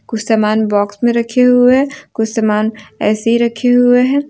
कुछ समान बॉक्स में रखे हुवे है कुछ सामना ऐसे ही रखे हुवे हैं।